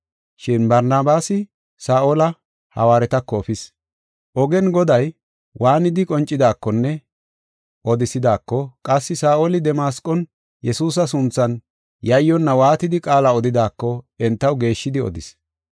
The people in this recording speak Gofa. Shin Barnabaasi Saa7ola hawaaretako efis. Ogen Goday waanidi qoncidaakonne odisidaako, qassi Saa7oli Damasqon Yesuusa sunthan yayyonna waatidi qaala odidaako entaw geeshshidi odis.